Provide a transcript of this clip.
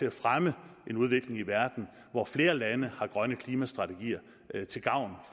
at fremme en udvikling i verden hvor flere lande har grønne klimastrategier til gavn